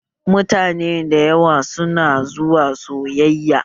Mutane da yawa su na zuwa sayayya